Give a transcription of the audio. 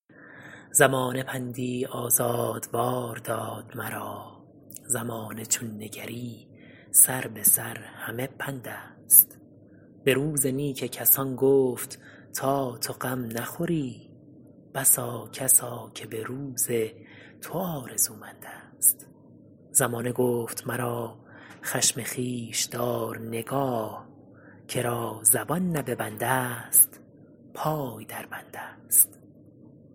زمانه پندی آزادوار داد مرا زمانه چون نگری سر به سر همه پند است به روز نیک کسان گفت تا تو غم نخوری بسا کسا که به روز تو آرزومند است زمانه گفت مرا خشم خویش دار نگاه که را زبان نه به بند است پای در بند است